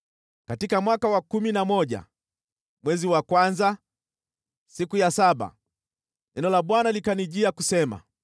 Katika mwaka wa kumi na moja, mwezi wa kwanza, siku ya saba, neno la Bwana likanijia kusema: